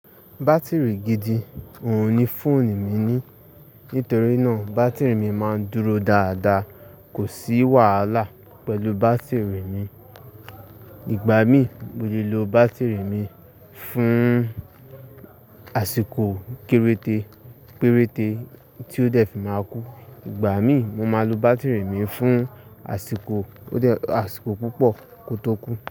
Batiri gidi òhun ni fóònù mi ní. Nítorí náà, batiri mi máa ń dúró dáadáa. Kò sí wàhálà pẹ̀lú batiri mi. Ìgbà mii, mo lè lo batiri mi fún àsìkò kéréte, péréte tí ó dẹ́fì máa kú. Ìgbà mi, mo máa lo batiri mi fún àsìkò, àsìkò púpọ̀ kó tó kú.